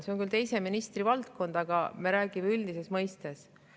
See on küll teise ministri valdkond, aga me räägime üldises mõistes.